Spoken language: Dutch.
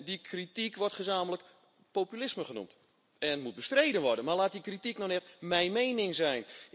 Die kritiek wordt samen populisme genoemd en moet bestreden worden, maar laat die kritiek nou net mijn mening zijn.